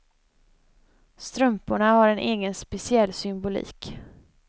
Strumporna har en egen speciell symbolik.